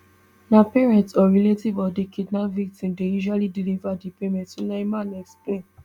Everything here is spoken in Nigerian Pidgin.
na parent or relative of di kidnap victim dey usually deliver di payment sulaiman explain